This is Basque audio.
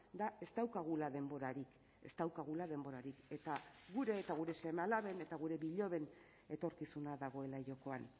da ez daukagula denborarik ez daukagula denborarik eta gure eta gure seme alaben eta gure biloben etorkizuna dagoela jokoan